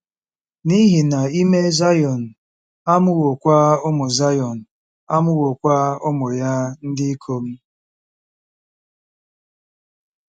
N'ihi na ime Zayọn amụwokwa ụmụ Zayọn amụwokwa ụmụ ya ndị ikom. ”